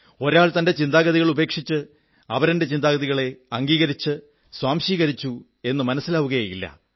ഒരാൾ തന്റെ ചിന്താഗതികൾ ഉപേക്ഷിച്ച് അപരന്റെ ചിന്തകളെ അംഗീകരിച്ചു സ്വാംശീകരിച്ചു എന്ന് മനസ്സിലാവുകയേ ഇല്ല